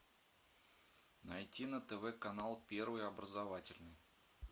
найти на тв канал первый образовательный